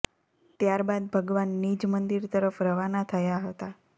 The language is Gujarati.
ત્યાર બાદ ભગવાન નિજ મંદિર તરફ રવાના થયા હતા